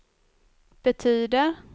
betyder